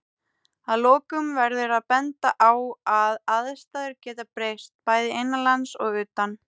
Að lokum verður að benda á að aðstæður geta breyst, bæði innanlands og utan.